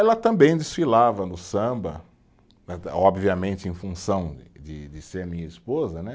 Ela também desfilava no samba, eh obviamente em função de de ser minha esposa, né?